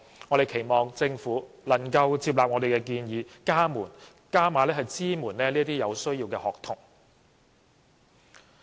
我們期望政府能夠接納我們的建議，加碼支援這些有需要的學童。